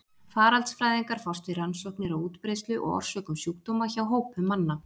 Faraldsfræðingar fást við rannsóknir á útbreiðslu og orsökum sjúkdóma hjá hópum manna.